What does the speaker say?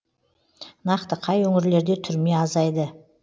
нақты қай өңірлерде түрме азайды